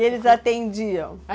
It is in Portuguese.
E eles atendiam?